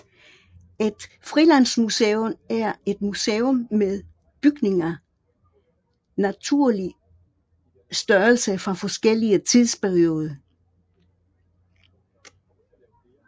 Et frilandsmuseum er et museum med bygninger naturlig størrelse fra forskellige tidsperioder